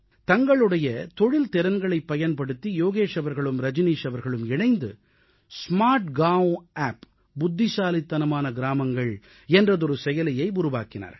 தங்களுடைய தொழில் திறன்களைப் பயன்படுத்தி யோகேஷ் அவர்களும் ரஜனீஷ் அவர்களும் இணைந்து ஸ்மார்ட்கான் ஆப் புத்திசாலித்தனமான கிராமங்கள் என்ற செயலியை உருவாக்கினார்கள்